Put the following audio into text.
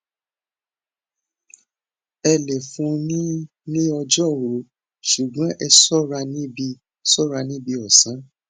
ẹ le fun un ní ní ọjọ òru ṣùgbọn ẹ ṣọra níbi ṣọra níbi ọsán